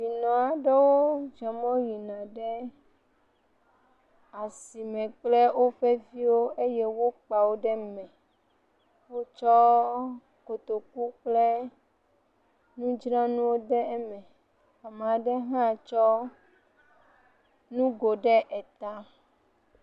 Ame aɖewo zɔ yina ɖe asime kple woƒe viwo eye wokpa wo ɖe me. Wotsɔ kotoku kple nudzranuwo ɖe eme. Nyɔnu aɖe ha tsɔ nugo ɖe eta.